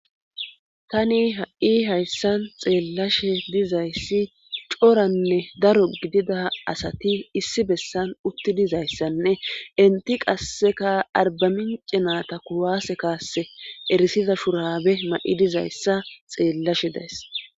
tani ha7i hayssan xeellashe dizayssi coranne daro gidida asati issi bessan utti dizayssanne inti qasseka arbamin cinata kuwase kaasse erisiza shurabe ma7i dizayssa xeellashe deys